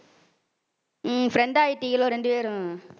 உம் friend ஆயிட்டீங்களோ ரெண்டு பேரும்.